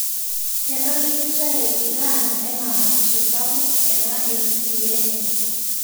Kedol Israel Iran ena matisho sapuk ena entii enye